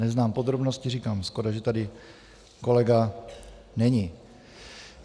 Neznám podrobnosti - říkám, škoda, že tady kolega není.